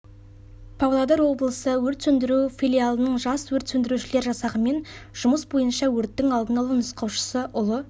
павлодар облысы өрт сөндіруші филиалының жас өрт сөндірушілер жасағымен жұмыс бойынша өрттің алдын алу нұсқаушысы ұлы